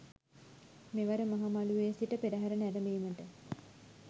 මෙවර මහ මළුවේ සිට පෙරහර නැරඹීමට